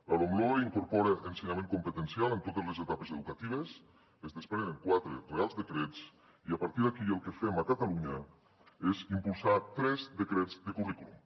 la lomloe incorpora ensenyament competencial en totes les etapes educatives es desprenen quatre reials decrets i a partir d’aquí el que fem a catalunya és impulsar tres decrets de currículum